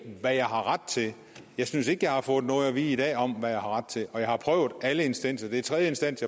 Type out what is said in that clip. hvad jeg har ret til jeg synes ikke jeg har fået noget at vide i dag om hvad jeg har ret til og jeg har prøvet alle instanser det er tredje instans